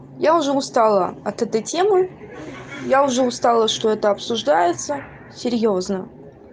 я уже устала от этой темы я уже устала что это обсуждается серьёзно